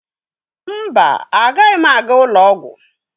Mba, agaghị m aga ụlọ ọgwụ.